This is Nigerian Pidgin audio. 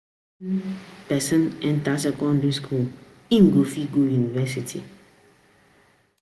Na when person enter secondary school im go fit go university